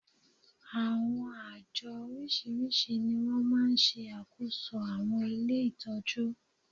Àwọn àjọ oríṣiríṣi ni wọ́n máa ń ṣe àkóso àwọn ilé ìtọ́jú